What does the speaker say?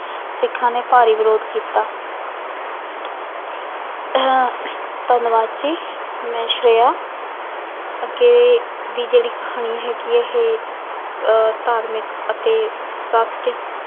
ਸਿੱਖਾਂ ਨੇ ਭਾਰੀ ਵਿਰੋਧ ਕੀਤਾ ਧੰਨਵਾਦ ਜੀ ਮੈਂ ਸ੍ਰੇਆ ਅੱਗੇ ਦੀ ਜਿਹੜੀ ਕਹਾਣੀ ਹੈਗੀ ਇਹ ਅਹ ਧਾਰਮਿਕ ਅਤੇ